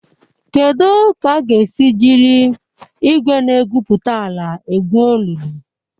Kedu ka a ga-esi jiri igwe na-egwupụta ala egwu olulu?